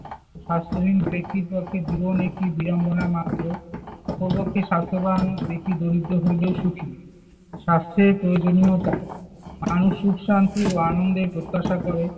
স্বাস্থ্যহীন ব্যক্তির পক্ষে জীবন একটি বিড়ম্বনা মাত্র। অপরপক্ষে স্বাস্থ্যবান ব্যক্তি দরিদ্র হইলেও সুখী। স্বাস্থ্যের প্রয়োজনীয়তা। মানুষ সুখ-শান্তি ও আনন্দের প্রত্যাশা করে।